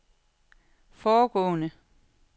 foregående